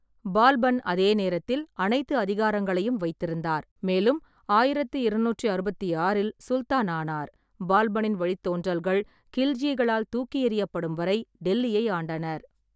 பால்பன் அதே நேரத்தில் அனைத்து அதிகாரங்களையும் வைத்திருந்தார், மேலும் ஆயிரத்து இருநூற்று அறுபத்தி ஆறில் சுல்தானானார். பால்பனின் வழித்தோன்றல்கள் கில்ஜிகளால் தூக்கியெறியப்படும் வரை டெல்லியை ஆண்டனர்.